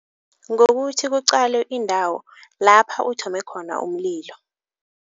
Ngokuthi kuqalwe indawo lapha uthome khona umlilo.